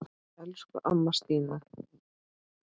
Elsku amma Stína Mass.